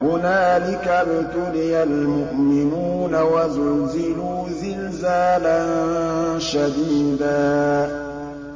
هُنَالِكَ ابْتُلِيَ الْمُؤْمِنُونَ وَزُلْزِلُوا زِلْزَالًا شَدِيدًا